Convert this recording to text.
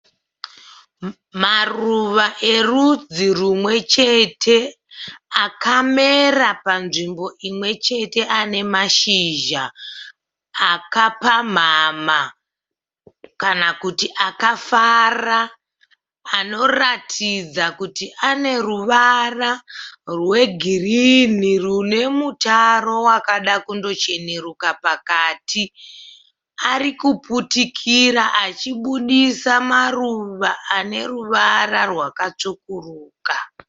Maruva erudzi rumwe chete akamera panzvimbo imwe chete ane mashizha akapamhamha kana kuti akafara anoratidza kuti ane ruvara rwegirinhi rune mutaro wakada kundocheneruka pakati. Ari kuputikira achibudisa maruva ane ruvara rwakatsvukuruka.